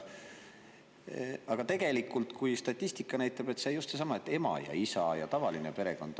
Aga tegelikult statistika näitab just seesama: ema ja isa ja tavaline perekond.